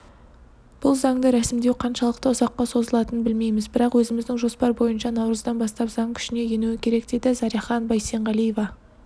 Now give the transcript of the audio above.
бұл заңды рәсімдеу қаншалықты ұзаққа созылатынын білмейміз бірақ өзіміздің жоспар бойынша наурыздан бастап заң күшіне енуі керек дейді заряхан бейсенғалиева